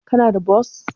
Kana da bos?